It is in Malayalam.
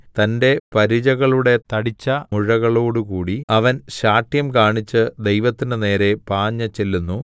തന്റെ പരിചകളുടെ തടിച്ച മുഴകളോടുകൂടി അവൻ ശാഠ്യംകാണിച്ച് ദൈവത്തിന്റെ നേരെ പാഞ്ഞുചെല്ലുന്നു